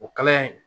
O kalaya in